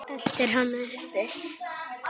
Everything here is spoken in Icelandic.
Eltir hana uppi.